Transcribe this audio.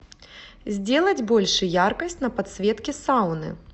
сделать больше яркость на подсветке сауны